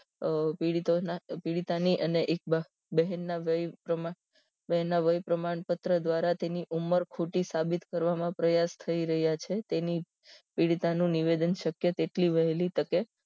આહ પીડિતોના પીડીતની અને એક બહેન વય વય વયપ્રમાણ પત્ર દ્વારા તેની ઉંમર ખોટી સાબિત કરવામાં પ્રયાસ થઇ રહ્યા છે તેની પીડીળતા નું નિવેદન શક્ય તેટલી વહેલી તકે